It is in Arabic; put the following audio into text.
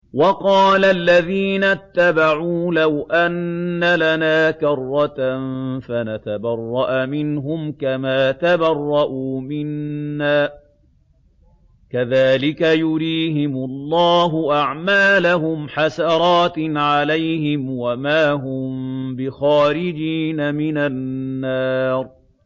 وَقَالَ الَّذِينَ اتَّبَعُوا لَوْ أَنَّ لَنَا كَرَّةً فَنَتَبَرَّأَ مِنْهُمْ كَمَا تَبَرَّءُوا مِنَّا ۗ كَذَٰلِكَ يُرِيهِمُ اللَّهُ أَعْمَالَهُمْ حَسَرَاتٍ عَلَيْهِمْ ۖ وَمَا هُم بِخَارِجِينَ مِنَ النَّارِ